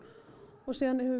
og síðan höfum